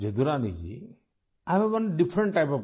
جدو رانی جی ، میرے آپ سے کچھ الگ طرح کے سوال ہیں